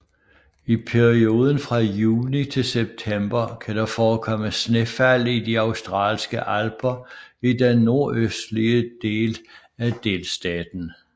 I perioden fra juni til september kan der forekomme snefald i de Australske Alper i den nordøstlige den af delstaten